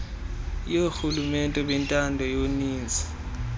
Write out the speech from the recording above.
yoorhulumente bentando yoninzi